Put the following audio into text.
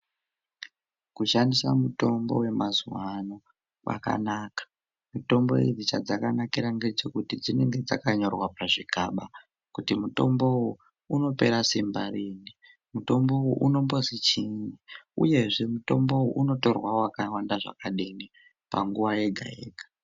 Kushandisa mitombo yemazuwa ano kwakanaka. Mitombo idzi chadzakanakira ngechekuti dzinenge dzakanyorwa pachzviigaba, kuti mitomboyu unopera simba riini, mutombo uyu unombozi chiini, uyezve mitomboyu unotorwa wakawanda zvakadini, panguwa yega-yega.